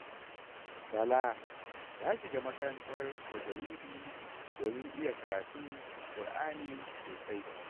Bala ya shiga makarantar tajawidi domin iya karatun Kur'ani sosai.